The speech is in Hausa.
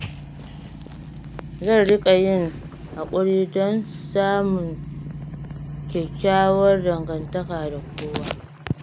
Zan riƙa yin haƙuri don samun kyakkyawar dangantaka da kowa.